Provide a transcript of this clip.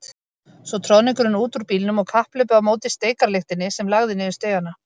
Svo troðningurinn út úr bílnum og kapphlaupið á móti steikarlyktinni sem lagði niður stigana.